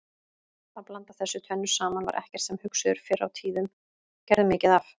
Að blanda þessu tvennu saman var ekkert sem hugsuðir fyrr á tíðum gerðu mikið af.